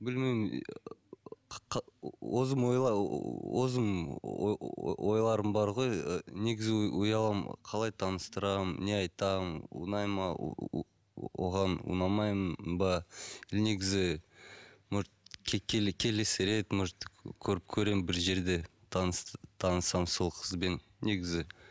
білмеймін ойларым бар ғой ыыы негізі ұяламын қалай таныстырамын не айтамын ұнай ма ыыы оған ұнамаймын ба негізі может келесі рет может көремін бір жерде танысамын сол қызбен негізі